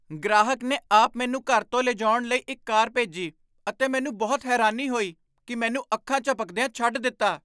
ਗ੍ਰਾਹਕ ਨੇ ਆਪ ਮੈਨੂੰ ਘਰ ਤੋਂ ਲਿਜਾਉਣ ਲਈ ਇੱਕ ਕਾਰ ਭੇਜੀ ਅਤੇ ਮੈਨੂੰ ਬਹੁਤ ਹੈਰਾਨੀ ਹੋਈ ਕਿ ਮੈਨੂੰ ਅੱਖਾਂ ਝਪਕਦਿਆਂ ਛੱਡ ਦਿੱਤਾ।